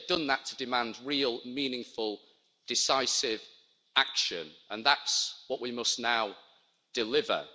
They've done that to demand real, meaningful, decisive action, and that's what we must now deliver.